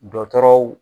Dɔtɔrɔw